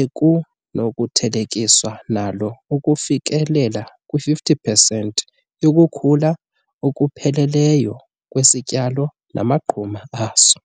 ekunokuthelekiswa nalo ukufikelela kwi-50 pesenti yokukhula okupheleleyo kwesityalo namanquma aso.